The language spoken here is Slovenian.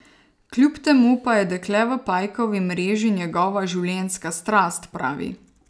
Kljub temu pa je Dekle v pajkovi mreži njegova življenjska strast, pravi.